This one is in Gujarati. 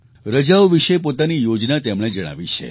રજાઓ વિશે પોતાની યોજના તેમણે જણાવી છે